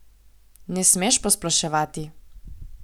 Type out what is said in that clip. Ne smeš posploševati.